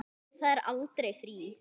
Það er aldrei frí.